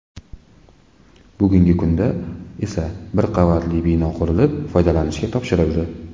Bugungi kunda esa bir qavatli bino qurilib, foydalanishga topshirildi.